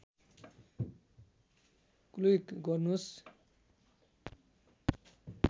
click गर्नुस्